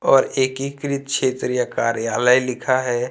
और एकीकृत क्षेत्रीय कार्यालय लिखा है।